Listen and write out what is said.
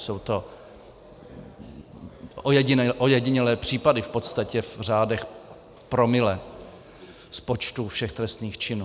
Jsou to ojedinělé případy v podstatě v řádech promile z počtu všech trestných činů.